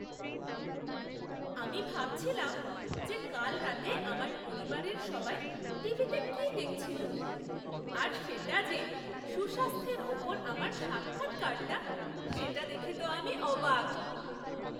আমি ভাবছিলাম যে কাল রাতে আমার পরিবারের সবাই টিভিতে কি দেখছিল, আর সেটা যে সুস্বাস্থ্যের উপর আমার সাক্ষাৎকারটা, সেটা দেখে তো আমি অবাক!